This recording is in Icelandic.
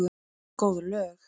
Góð lög.